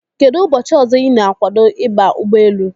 Kedụ ụbọchị ọzọ ị na-agwado ịba ụgbọelu?